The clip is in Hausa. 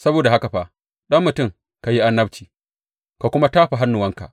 Saboda haka fa, ɗan mutum ka yi annabci ka kuma tafa hannuwanka.